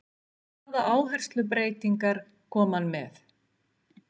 Hvaða áherslubreytingar kom hann með?